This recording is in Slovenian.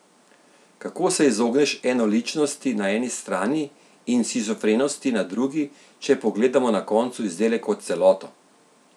Kako se izogneš enoličnosti na eni strani in shizofrenosti na drugi, če pogledamo na koncu izdelek kot celoto?